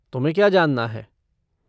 तुम्हें क्या जानना है?